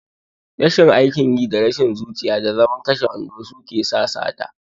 Rashin aikin yi, da rashin zuciya, da zaman kashe wando suke sa sata.